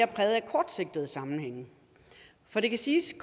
er præget af kortsigtede sammenhænge for det kan siges